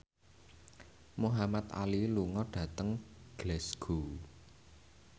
Muhamad Ali lunga dhateng Glasgow